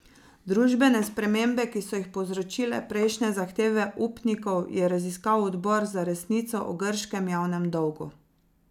Družbene spremembe, ki so jih povzročile prejšnje zahteve upnikov, je raziskal odbor za resnico o grškem javnem dolgu.